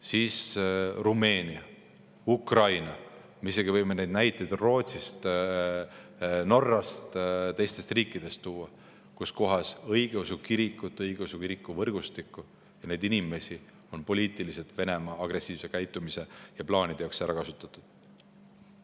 Siis Rumeenia, Ukraina, me võime tuua isegi Rootsist, Norrast ja teistest riikidest näited selle kohta, et õigeusu kirikut, kiriku võrgustikku ja neid inimesi on poliitiliselt Venemaa agressiivse käitumise ja plaanide jaoks ära kasutatud.